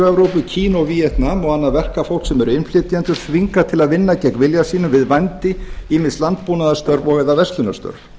evrópu kína og víetnam og annað verkafólk sem er innflytjendur þvingað til að vinna gegn vilja sínum við vændi ýmis landbúnaðarstörf og eða verslunarstörf